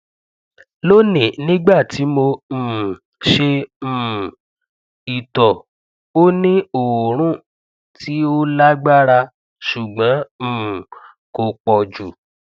loni nigbati mo um ṣe um ito o ni oorun ti o lagbara ṣugbọn um ko pọ ju